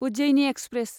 Ujjaini express